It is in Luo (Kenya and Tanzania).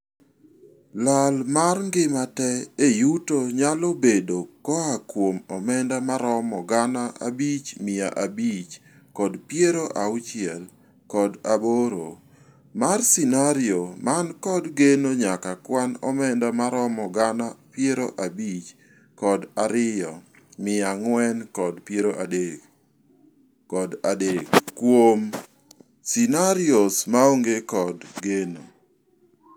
Lal mar ngima tee e yuto nyalo bedo koaa kuom omenda maromo gana abich mia abich kod piero auchiel kod aboro mar scenario man kod geno nyaka kwan omenda maromo gana piero abich kod ariyo mia ang'wen kod piero adek kod adek kuom scenarios maonge kod geno.